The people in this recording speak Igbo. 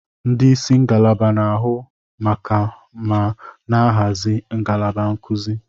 Ndị isi ngalaba na-ahụ maka ma na-ahazi ngalaba nkuzi.